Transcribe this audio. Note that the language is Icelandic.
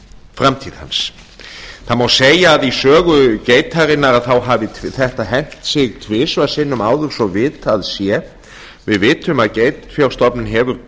framtíð hans það má segja að í sögu geitarinnar hafi þetta hent sig tvisvar sinnum áður svo vitað sé við vitum að geitfjárstofninn hefur